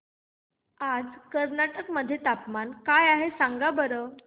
आज कर्नाटक मध्ये तापमान काय आहे सांगा बरं